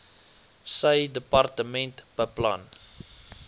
sy departement beplan